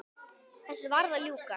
Þessu varð að ljúka.